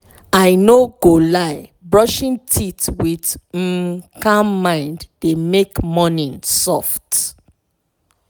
i no go lie brushing teeth with um calm mind dey make morning soft.